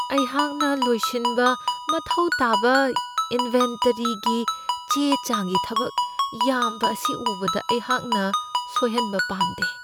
ꯑꯩꯍꯥꯛꯅ ꯂꯣꯏꯁꯤꯟꯕ ꯃꯊꯧ ꯇꯥꯕ ꯏꯟꯕꯦꯟꯇꯔꯤꯒꯤ ꯆꯦ ꯆꯥꯡꯒꯤ ꯊꯕꯛ ꯌꯥꯝꯕ ꯑꯁꯤ ꯎꯕꯗ, ꯑꯩꯍꯥꯛꯅ ꯁꯣꯏꯍꯟꯕ ꯄꯥꯝꯗꯦ꯫